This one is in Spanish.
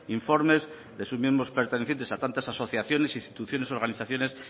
informes de sus miembros pertenecientes a tantas asociaciones instituciones y organizaciones